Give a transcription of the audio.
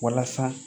Walasa